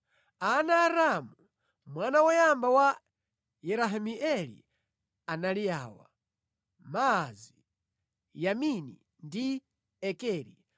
Ana a Ramu, mwana woyamba wa Yerahimeeli, anali awa: Maazi, Yamini ndi Ekeri.